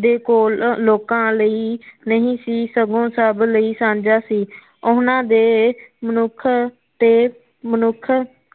ਦੇ ਕੇਲ ਲੋਕਾ ਲਈ ਨਹੀ ਸੀ ਸਗੋਂ ਸਭ ਲਈ ਸਾਝਾ ਸੀ ਉਹਨਾ ਦੇ ਮਨੁਖ ਤੇ ਮਨੁਖ